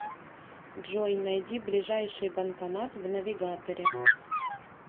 джой найди ближайший банкомат в навигаторе